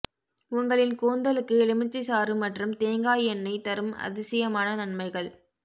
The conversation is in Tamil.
உங்களின் கூந்தலுக்கு எலுமிச்சை சாறு மற்றும் தேங்காய் எண்ணெய் தரும் அதிசயமான நன்மைகள்